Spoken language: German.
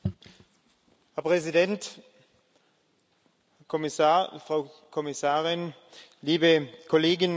Herr Präsident, Frau Kommissarin, liebe Kolleginnen und Kollegen!